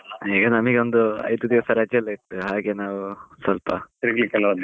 ಈಗ ನನಿಗೊಂದು ಐದು ದಿವಸ ರಜೆಯೆಲ್ಲಾ ಇತ್ತು, ಹಾಗೆ ನಾವು ಸ್ವಲ್ಪ ತಿರುಗ್ಲಿಕ್ಕೆಲ್ಲಾ ಹೋದ್ ಹಾಗೆ.